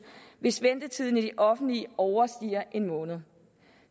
hvis ventetiden i det offentlige overstiger en måned